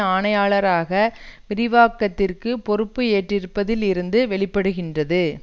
ஆணையாளராக விரிவாக்கத்திற்குப் பொறுப்பு ஏற்றிருப்பதில் இருந்து வெளிப்படுகின்றது